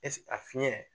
a fiɲɛ